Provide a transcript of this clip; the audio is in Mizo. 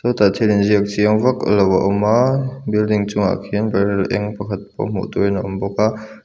sawtah thil inziak chiang vaklo a awm a building chungah khian barrel eng pakhat pawh hmuh turin a awm bawk a.